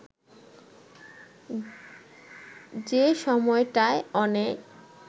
যে সময়টায় অনেক